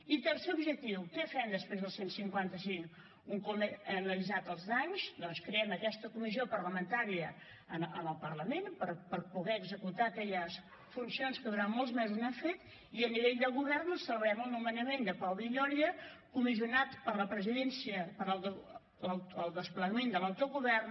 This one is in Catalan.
i tercer objectiu què fem després del cent i cinquanta cinc un cop hem analitzats els danys doncs creem aquesta comissió parlamentària en el parlament per poder executar aquelles funcions que durant molts mesos no hem fet i a nivell de govern celebrem el nomenament de pau villòria comissionat per la presidència per al desplegament de l’autogovern